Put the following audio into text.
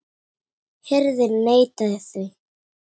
Hirðin neitaði því.